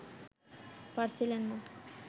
পারছিলেন না